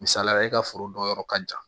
Misalila e ka foro dɔ yɔrɔ ka jan